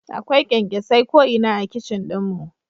Akwai kyankyasai ko'ina a kicin ɗin mu